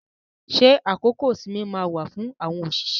Ṣé àkókò ìsinmi máa wà fún àwọn òṣìṣẹ́?